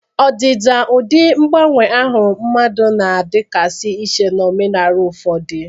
Ọdịda na ụdị mgbanwe ahụ mmadụ na-adịgasị iche n'omenala ụfọdụ.